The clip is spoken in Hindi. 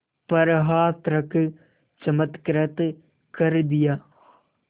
पर हाथ रख चमत्कृत कर दिया